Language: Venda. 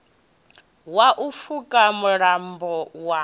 wa u pfuka mulambo wa